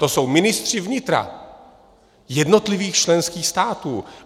To jsou ministři vnitra jednotlivých členských států.